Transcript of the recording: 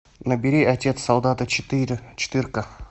набери отец солдата четыре четырка